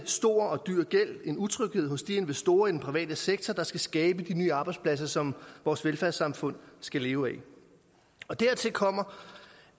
stor og dyr gæld og en utryghed hos de investorer i den private sektor der skal skabe de nye arbejdspladser som vores velfærdssamfund skal leve af dertil kommer